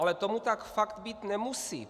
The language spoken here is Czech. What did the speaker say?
Ale tomu tak fakt být nemusí.